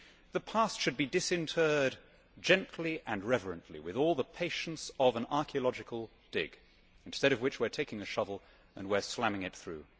The past should be disinterred gently and reverently, with all the patience of an archaeological dig instead of which we are taking the shovel and we are slamming it through.